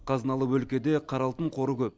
қазыналы өлкеде қара алтын қоры көп